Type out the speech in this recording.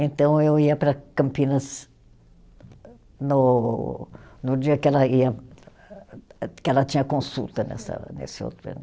Então eu ia para Campinas no no dia que ela ia, que ela tinha consulta nessa, nesse outro